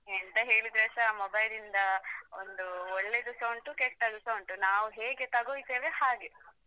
ಎಂತ ಹೇಳಿದ್ರೇಸಾ mobile ಲಿಂದ ಒಂದು ಒಳ್ಳೆದುಸ ಉಂಟು ಕೆಟ್ಟದುಸ ಉಂಟು ನಾವ್ ಹೇಗೆ ತಕೊಳ್ತೇವೆ ಹಾಗೆ.